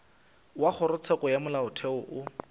wa kgorotsheko ya molaotheo o